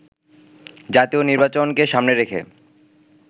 জাতীয় নির্বাচনকে সামনে রেখে